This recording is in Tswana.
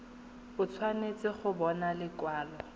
o tshwanetse go bona lekwalo